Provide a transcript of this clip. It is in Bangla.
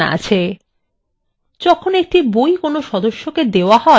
যখন একটি বই কোনো সদস্যকে দেওয়া হয় তখন